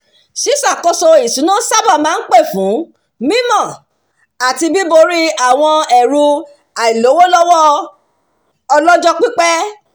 "ṣíṣàkóso ìṣúná sábà máa ń pè fún mímọ̀ àti bíborí àwọn ẹ̀rù àìlówólọ́wọ́ ọlọ́jọ́ pípẹ́"